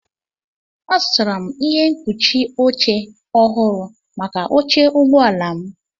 Azụtara m ihe mkpuchi oche ọhụrụ maka oche ụgbọ ala m.